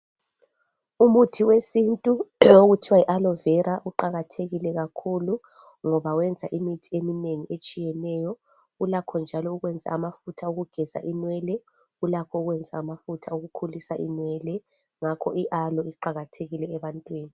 Umuthi wesintu okuthiwa yi aloe vera kuqakathekile kakhulu ngoba wenza imithi eminengi etshiyeneyo Ulakho njalo ukwenza amafutha okugeza inwele ulakho ukwenza amafutha okukhulisa inwele. Ngakho i-aloe kuqakathekile ebantwini.